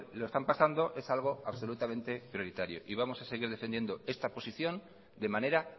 lo están pasando es algo absolutamente prioritario y vamos a seguir defendiendo esta posición de manera